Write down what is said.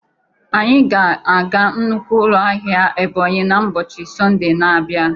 Anyị ga-aga nnukwu ụlọ ahịa Ebonyi na ụbọchị Sọnde na-abịa